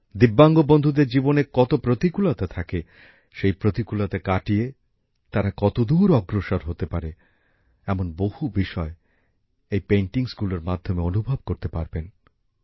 ভিন্নভাবে সক্ষম বন্ধুদের জীবনে কত প্রতিকূলতা থাকে সেই প্রতিকূলতা কাটিয়ে তারা কতদূর অগ্রসর হতে পারে এমন বহু বিষয় এই ছবিগুলির মাধ্যমে অনুভব করতে পারবেন